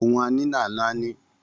Ohun a ní là ń náání